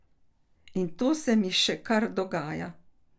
In to se mi še kar dogaja ...